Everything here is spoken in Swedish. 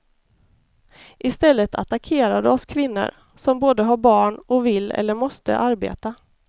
I stället attackerar du oss kvinnor som både har barn och vill eller måste arbeta.